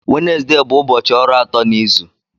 Wenezde bụ ụbọchị ọrụ atọ n'izu.